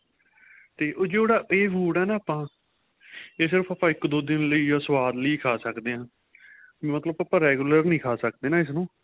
ਤੇ ਉਹ ਜਿਹੜਾ ਏਹ food ਏਹ ਆਪਾਂ ਏਹ ਸਿਰਫ਼ ਆਪਾਂ ਇੱਕ ਦੋ ਦਿਨ ਲਈ ਸੁਆਦ ਲਈ ਖਾਂ ਸਕਦੇ ਹਾਂ ਮਤਲਬ ਆਪਾਂ regular ਨਹੀਂ ਖਾਂ ਸਕਦੇ ਇਸ ਨੂੰ